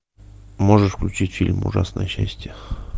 можешь включить фильм ужасное счастье